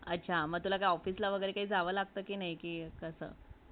अच्छा ! म तुला ऑफिसला वागेरे काय जावे लागते कि नाय